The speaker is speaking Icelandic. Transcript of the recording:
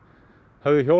höfðu hjólað